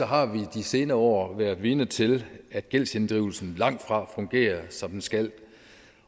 har vi de senere år været vidne til at gældsinddrivelsen langt fra fungerer som den skal